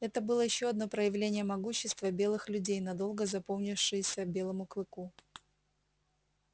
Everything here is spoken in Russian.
это было ещё одно проявление могущества белых людей надолго запомнившееся белому клыку